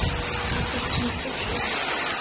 Af hverju ertu svona þrjóskur, Vébjörn?